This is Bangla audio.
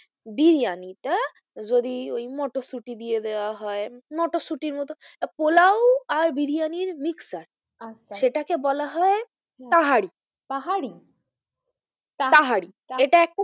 বিরিয়ানি টা যদি ওই মটরশুটি দিয়ে দেওয়া হয় মটরশুটির মতো পোলাও আর বিরিয়ানির mixture আচ্ছা সেটাকে বলা হয় তাহারি পাহাড়ি? তাহারি এটা একটা,